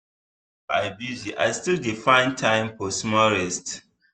even if i busy i still dey find time for small rest.